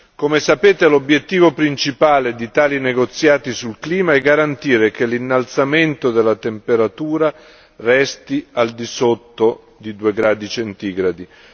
Come sapete, l'obiettivo principale di tali negoziati sul clima è garantire che l'innalzamento della temperatura resti al di sotto di due gradi centigradi.